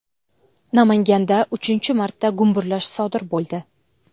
Namanganda uchinchi marta gumburlash sodir bo‘ldi.